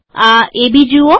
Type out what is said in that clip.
આ એબી જુઓ